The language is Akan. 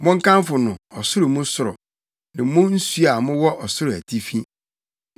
Monkamfo no, ɔsoro mu soro ne mo nsu a mowɔ ɔsoro atifi.